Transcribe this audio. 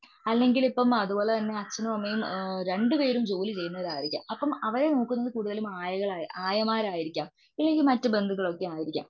അല്ലങ്കിൽ ഇപ്പോ അതുപോലെ തന്നെ അച്ഛനും അമ്മയും രണ്ടുപേരും ജോലി ചെയ്യുന്നവരായിരിക്കാം. അപ്പോ അവരെ നോക്കുന്നത്കുടുതലും ആയമാരായിരിക്കാം. അല്ലങ്കിൽ മറ്റു ബന്തുക്കൾ ഒക്കെ ആയിരിക്കാം.